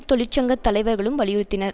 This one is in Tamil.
தொழிற்சங்க தலைவர்களும் வலியுறுத்தினர்